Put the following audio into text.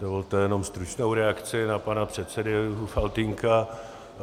Dovolte jenom stručnou reakci na pana předsedu Faltýnka.